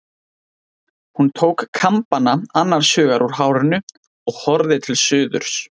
Hún tók kambana annars hugar úr hárinu og horfði til suðurs.